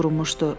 qurmuşdu.